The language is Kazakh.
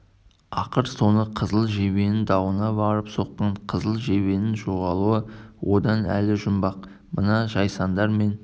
ақыр соңы қызыл жебенің дауына барып соққан қызыл жебенің жоғалуы оған әлі жұмбақ мына жайсаңдар мен